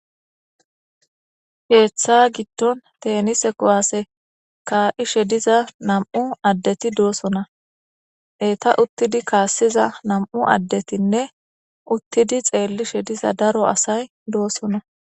Keeththa gidonn tenise kuwase ka"ishshe diza nam"u adeti dossona eeta utidi kasiza nam'u adetinne utidi xeliza daro asay dossona